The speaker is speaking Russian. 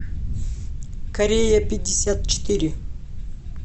корея пятьдесят четыре